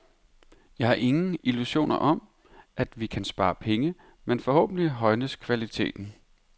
Jeg har ingen illusioner om, at vi kan spare penge, men forhåbentlig højnes kvaliteten.